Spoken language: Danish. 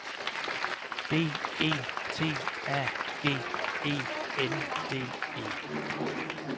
B E T A G E N D E